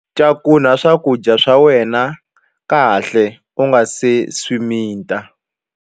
Cakunya swakudya swa wena kahle u nga si swi mita.